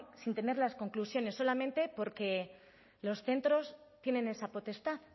sin tener las conclusiones solamente porque los centros tienen esa potestad